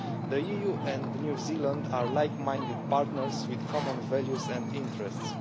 The EU and New Zealand are like minded partners, with common values and interests.